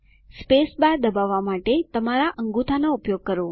spacebar દબાવવા માટે તમારા અંગૂઠાનો ઉપયોગ કરો